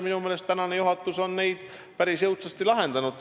Minu meelest on praegune juhatus neid ka päris jõudsasti lahendanud.